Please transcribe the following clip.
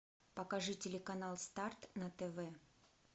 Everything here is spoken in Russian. покажи телеканал старт на тв